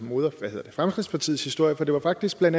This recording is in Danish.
fremskridtspartiets historie for det var faktisk bla